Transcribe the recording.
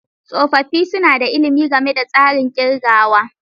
Tsofaffi suna da ilimi game da tsarin kirgawa.